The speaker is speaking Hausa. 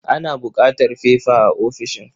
Ana buƙatar fefa a ofishin.